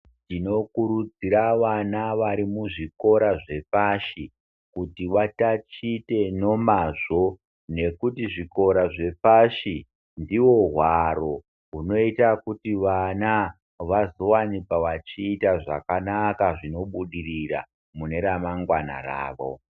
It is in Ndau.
Tinokurudzira vana varimuzvikora zvepapashi kuti vatatiche nemazvo ngekuti zvikora zvepashi ndiwo hwaro hunoita kuti vana vazowanikwa vachiita zvakanaka zvinobudirira mune ramangwana ravo.